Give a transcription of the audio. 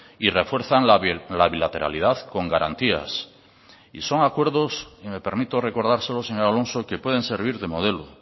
y refuerzan la bilateralidad con garantías y son acuerdos y me permito recordárselos señor alonso que pueden servir de modelo